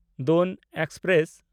Doon express